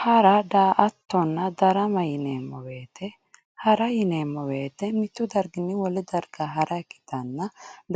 Hara, daa"attonna darama yineemmo woyte hara yineemmo woyte mitu darginni wole darga hara ikkittanna,